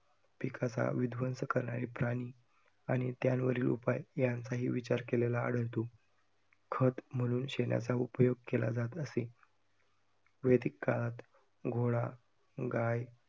पिकाचा विध्वंस करणारे प्राणी आणि त्यांवरील उपाय यांचाही विचार केलेला आढळतो. खत म्हणून शेणाचा उपयोग केला जात असे वेदीक काळात घोडा, गाय